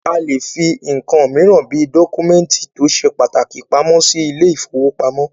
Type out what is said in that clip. A lè fí nǹkan míràn bí dọ́kúmẹ̀ntì tó ṣe pàtàkì pamọ́ sí ilé ìfọwọ́pamo.